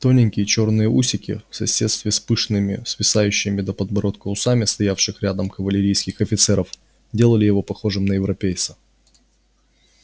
тоненькие чёрные усики в соседстве с пышными свисающими до подбородка усами стоявших рядом кавалерийских офицеров делали его похожим на европейца